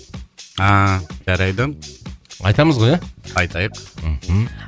ааа жарайды айтамыз ғой ия айтайық мхм